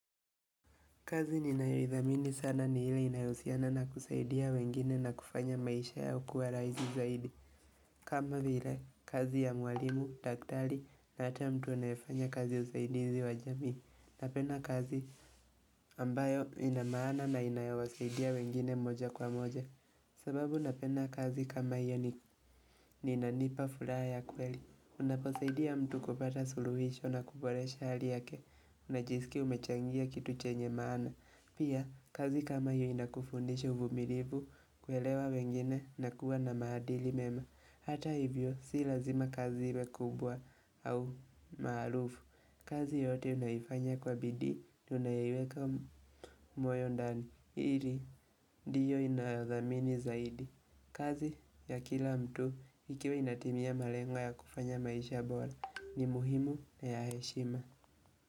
Kazi ninayoidhamini sana nihile inahusiana na kusaidia wengine na kufanya maisha yakuwe rahisi zaidi. Kama vile, kazi ya mwalimu, daktari na hata mtu anayefanya kazi usaidizi wa jamii. Napenda kazi ambayo inamaana na inayowasaidia wengine moja kwa moja. Sababu napenda kazi kama hiyo ni inanipa furaha ya kweli. Unaposaidia mtu kupata suluhisho na kuboresha hali yake. Unajisikia umechangia kitu chenye maana. Pia, kazi kama hiyo inakufundisha uvumilivu kuelewa wengine na kuwa na maadili mema Hata hivyo, si lazima kazi iwe kubwa au maarufu kazi yoyote unayoifanya kwa bidii, tunayaoiweka mwoyondani ili, ndiyo inayo dhamini zaidi kazi ya kila mtu, ikiwa inatimia malengwa ya kufanya maisha bora, ni muhimu na ya heshima.